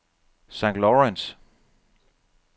St. Lawrence